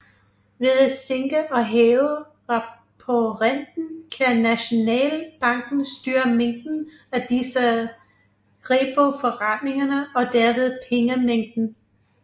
Ved at sænke og hæve reporenten kan Nationalbanken styre mængden af disse repoforretninger og derved pengemængden